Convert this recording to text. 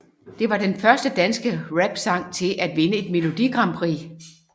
Det var den første danske rapsang til at vinde et Melodi Grand Prix